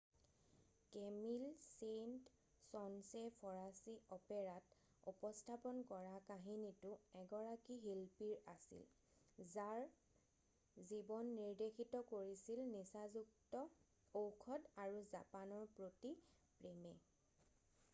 কেমিল Saint Saens ফঁৰাচী অপেৰাত উপস্থাপন কৰা কাহিনীটো এগৰাকী শিল্পীৰ আছিল যাৰ জীৱন নিৰ্দেশিত কৰিছিল নিচাযুক্ত ঔষধ আৰু জাপানৰ প্ৰতি প্ৰেমে ”।